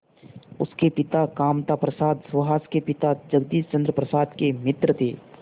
उसके पिता कामता प्रसाद सुहास के पिता जगदीश चंद्र प्रसाद के मित्र थे